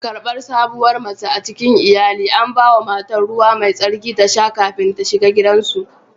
Karbar sabuwar mace a cikin iyali, an ba wa matar ruwa mai tsarki ta sha kafin ta shiga gidansu